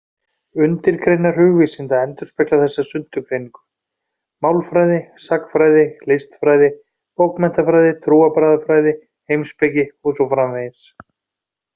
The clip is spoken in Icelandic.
Undirgreinar hugvísinda endurspegla þessa sundurgreiningu: málfræði, sagnfræði, listfræði, bókmenntafræði, trúarbragðafræði, heimspeki og svo framvegis.